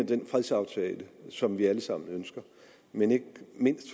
den fredsaftale som vi alle sammen ønsker men